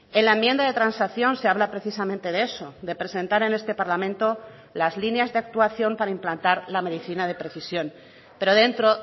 en la enmienda de transacción se habla precisamente de eso de presentar en este parlamento las líneas de actuación para implantar la medicina de precisión pero dentro